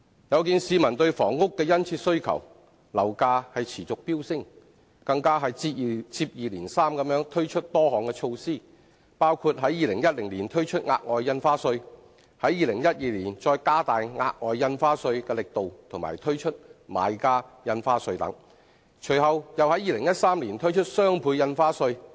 有見市民對房屋的殷切需求，樓價持續飆升，政府接二連三推出多項措施，包括在2010年推出額外印花稅，於2012年加大額外印花稅的力度和推出買家印花稅，隨後又於2013年推出雙倍印花稅。